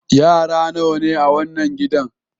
Yara nawa ne a wannan gidan?